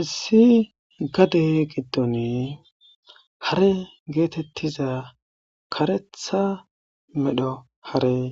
Issi gade giddoni hare geetettiza karetha medho harey